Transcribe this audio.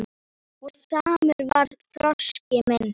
Og samur var þroski minn.